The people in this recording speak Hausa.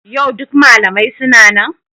Yau duk malamai suna nan?